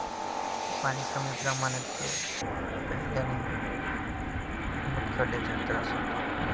पाणी कमी प्रमाणात प्यायल्याने मूतखड्याचा त्रास होतो.